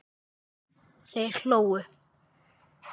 Þeir hlógu.